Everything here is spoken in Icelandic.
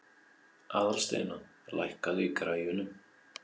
Aðalsteina, lækkaðu í græjunum.